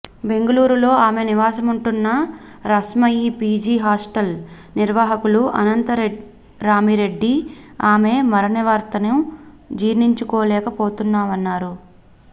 బెంగుళూరులో ఆమె నివాసముంటున్న రామ్సాయి పీజీ హాస్టల్ నిర్వాహకులు అనంతరామిరెడ్డి ఆమె మరణవార్తను జీర్ణించుకోలేక పోతున్నామన్నారు